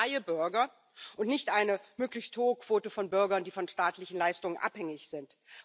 Wir wollen freie Bürger und nicht eine möglichst hohe Quote von Bürgern, die von staatlichen Leistungen abhängig sind.